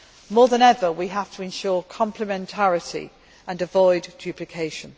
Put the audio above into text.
More than ever we have to ensure complementarity and avoid duplication.